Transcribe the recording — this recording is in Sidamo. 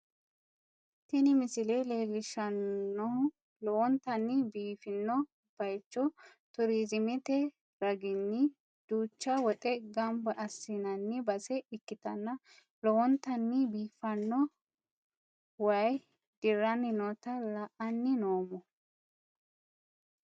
Tini misile leellishshannohu lowontanni biifino bayicho turiiziimete raginni duucha woxe gamba assi'nanni base ikkitanna, lowontanni biifanno waayi dirranni noota la'anni noommo.